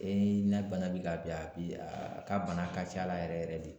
Ee na bana bi ka bin a bi a ka bana ka ca la yɛrɛ yɛrɛ de